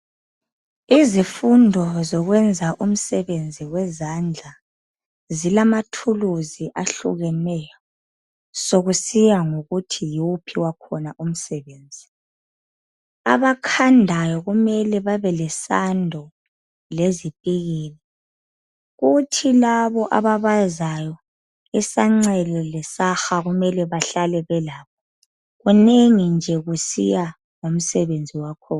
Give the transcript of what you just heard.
Izifundo zokwenza umsebenzi wezandla zilamathuluzi ehlukeneyo kusiya ngokuthi yiwuphi wakhona umsebenzi. Abakhandayo kumele babe lesando lezipikili kuthi laba ababazayo isancele lesaha kumele bahlale belakho. Kunengi nje kusiya ngomsebenzi wakhona